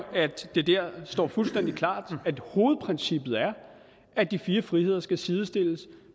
at det dér står fuldstændig klart at hovedprincippet er at de fire friheder skal sidestilles